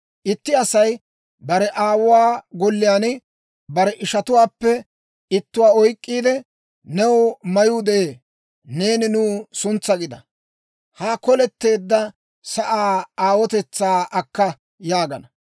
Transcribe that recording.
Itti Asay bare aawuwaa golliyaan bare ishatuwaappe ittuwaa oyk'k'iide, «New mayuu de'ee; neeni nuw suntsaa gida; ha koletteedda sa'aa aawotetsaa akka» yaagana.